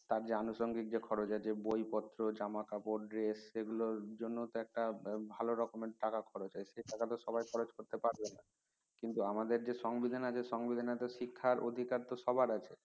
তার যে আনুসাঙ্গিক যে খরচ আছে বই পত্র জামা কাপড় dress এগুলো জন্য তো একটা ভালো রকমের টাকা খরচ হয় সে টাকা তো সবাই খরচ করতে পারবে না কিন্তু আমাদের যে সংবিধান আছে সংবিধানে তো শিক্ষা র অধিকার তো সবার আছে